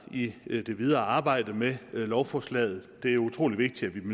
i i det videre arbejde med lovforslaget det er utrolig vigtigt at vi